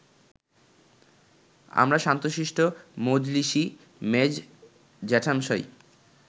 আমার শান্তশিষ্ট মজলিশী মেজ জ্যাঠামশাই